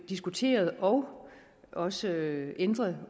diskuteret og også ændret